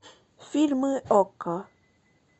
фильмы окко